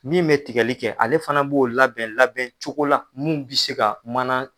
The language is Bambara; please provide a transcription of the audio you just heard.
Min bɛ tigɛli kɛ ale fana b'o labɛn labɛn cogo la mun bi se ka mana.